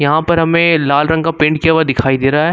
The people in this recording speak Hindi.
यहां पर हमें लाल रंग का पेंट किया हुआ दिखाई दे रहा है।